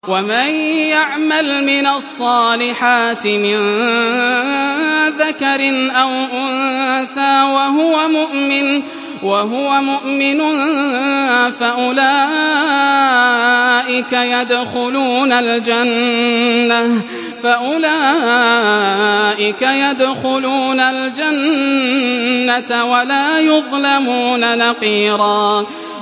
وَمَن يَعْمَلْ مِنَ الصَّالِحَاتِ مِن ذَكَرٍ أَوْ أُنثَىٰ وَهُوَ مُؤْمِنٌ فَأُولَٰئِكَ يَدْخُلُونَ الْجَنَّةَ وَلَا يُظْلَمُونَ نَقِيرًا